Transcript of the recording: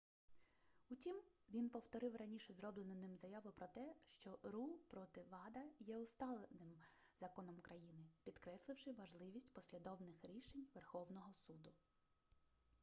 утім він повторив раніше зроблену ним заяву про те що ру проти вада є усталеним законом країни підкресливши важливість послідовних рішень верховного суду